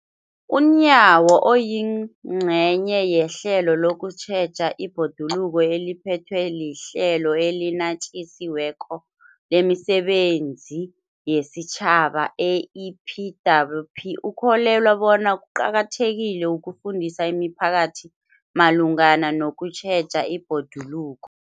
UNyawo, oyingcenye yehlelo lokutjheja ibhoduluko eliphethwe liHlelo eliNatjisi weko lemiSebenzi yesiTjhaba, i-EPWP, ukholelwa bona kuqakathekile ukufundisa imiphakathi malungana nokutjheja ibhoduluko.